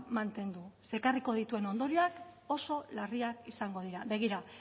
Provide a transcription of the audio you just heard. mantendu ze ekarriko dituen ondorioak oso larriak izango dira begira